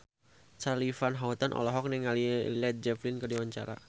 Charly Van Houten olohok ningali Led Zeppelin keur diwawancara